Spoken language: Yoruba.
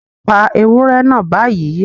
Pa ewúrẹ́ náà báyìí